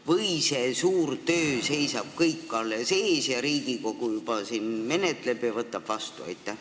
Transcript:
Või see suur töö seisab kõik alles ees, aga Riigikogu juba siin menetleb eelnõu ja võtab seadust vastu?